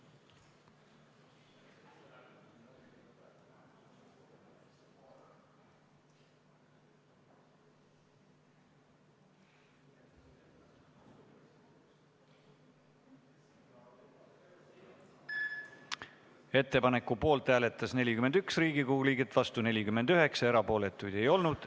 Hääletustulemused Ettepaneku poolt hääletas 41 Riigikogu liiget, vastu oli 49 ja erapooletuid ei olnud.